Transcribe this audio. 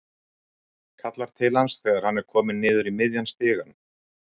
Kallar til hans þegar hann er kominn niður í miðjan stigann.